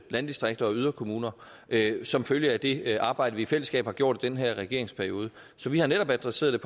landdistrikter og yderkommuner som følge af det arbejde vi i fællesskab har gjort i den her regeringsperiode så vi har netop adresseret